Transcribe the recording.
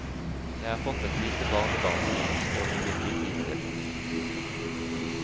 Jeg har fått et lite barnebarn som jeg ønsker å vie mye tid til.